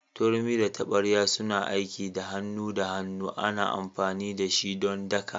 Turmi da tabarya suna aiki da hannu da hannu ana amfani da shi don daka.